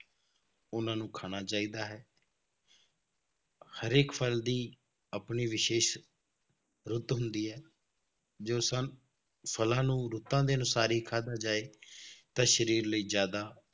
ਉਹਨਾਂ ਨੂੰ ਖਾਣਾ ਚਾਹੀਦਾ ਹੈ ਹਰੇਕ ਫਲ ਦੀ ਆਪਣੀ ਵਿਸ਼ੇਸ਼ ਰੁੱਤ ਹੁੰਦੀ ਹੈ ਜੋ ਸਾਨ~ ਫਲਾਂ ਨੂੰ ਰੁੱਤਾਂ ਦੇ ਅਨੁਸਾਰ ਹੀ ਖਾਧਾ ਜਾਏ ਤਾਂ ਸਰੀਰ ਲਈ ਜ਼ਿਆਦਾ